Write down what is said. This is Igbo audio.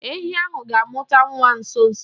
Ehi ahụ ga-amụta nwa nso nso.